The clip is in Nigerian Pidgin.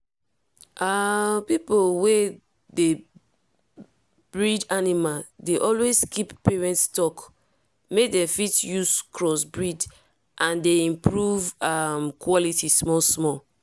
um people wey dey breed animal dey always keep parent stock make dem fit use cross breed and dey improve um quality small small.